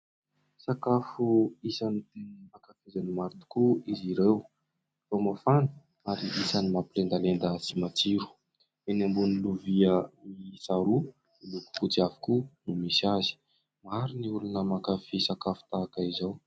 Sakafo isany tena ankafizan'ny maro tokoa izy ireo vao mafana ary isany mampilendalenda sy matsiro, eny ambonin'ny lovia miiisa roa miloko fotsy avokoa no misy azy, maro ny olona mankafia sakafo tahaka izao.